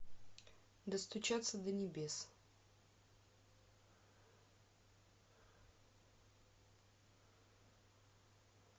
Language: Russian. достучаться до небес